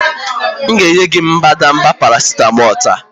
M ga-enye gị mbadamba paracetamol taa